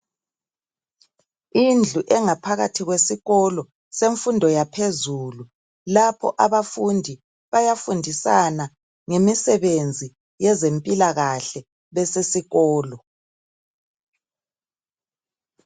Indlu engaphakathi kwesikolo semfundo yaphezulu lapho abafundi bayafundisana ngemisebenzi yezempilakahle besesikolo.